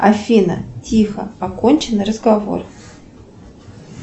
афина тихо окончен разговор